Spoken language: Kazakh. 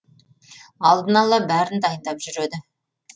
алдын ала бәрін дайындап жүреді